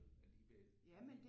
Alligevel